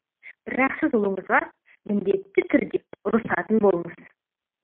бірақ сіз ұлыңызға міндетті түрде ұрысатын болыңыз